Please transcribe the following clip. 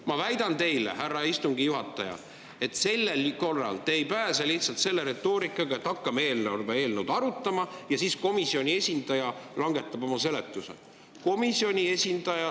Ma väidan teile, härra istungi juhataja, et sel korral te ei pääse lihtsalt selle retoorikaga, et hakkame eelarve eelnõu arutama ja siis komisjoni esindaja oma seletused.